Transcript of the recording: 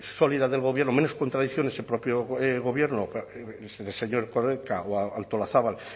sólida del gobierno menos contradicciones del propio gobierno el señor erkoreka o la señora artolazabal